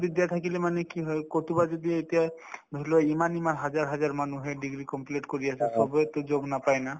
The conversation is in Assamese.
বিদ্যা থাকিলে মানে কি হয় কৰবাত যদি এতিয়া ধৰিলোৱা ইমান ইমান হাজাৰ হাজাৰ মানুহে degree complete কৰি আছে চবেইতো job নাপাই না